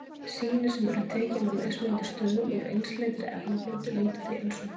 Sýni sem eru tekin á mismunandi stöðum úr einsleitri efnablöndu líta því eins út.